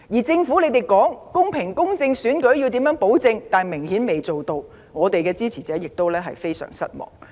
政府聲稱會保證選舉公平公正，卻顯然做不到，也令我們的支持者非常失望。